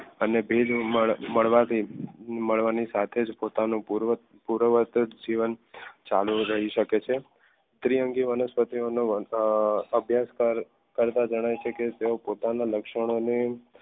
અને ભેજ મળવાથી ભણવાની સાથે જ પોતાનું પૂર્વજીવન ચાલુ રહી શકે છે દ્વિઅંગી વનસ્પતિઓનો અ અભ્યાસ કરતા જણાય છે કે તેઓ પોતાના લક્ષણોને